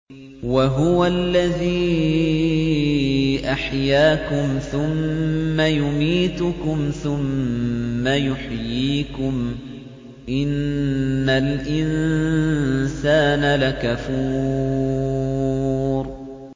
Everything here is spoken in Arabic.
وَهُوَ الَّذِي أَحْيَاكُمْ ثُمَّ يُمِيتُكُمْ ثُمَّ يُحْيِيكُمْ ۗ إِنَّ الْإِنسَانَ لَكَفُورٌ